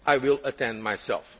I will attend myself.